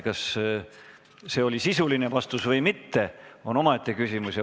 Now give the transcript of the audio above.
Kas see oli sisuline vastus või mitte, on omaette küsimus.